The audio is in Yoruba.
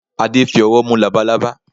Adé fi ọwọ́ mú labalaba.